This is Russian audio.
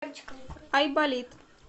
айболит